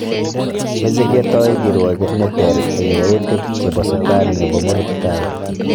Meche ketoi kirwoget ne ter eng yautik chebo Sutan nebo murot tai